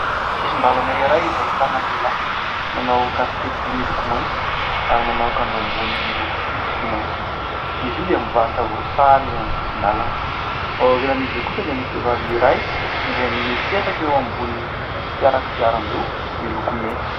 Sisin-dalana iray izay ahitana lehilahy. Manao kasikety miloko mainty ary manao akanjo ambony miloko fotsy sy maitso. Izy io dia mivarotra voasary eo amin'ny sisin-dalana, ao aorinan'izy io kosa dia misy vehivavy iray izay mipetraka eo ambony fiara kodiaran-droa miloko mena.